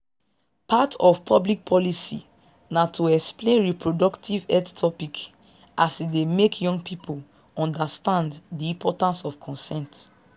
part of public policy na to explain reproductive health topics as e dey make young people understand di importance of consent